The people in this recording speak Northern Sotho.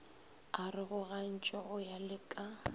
arogogantšwe go ya le ka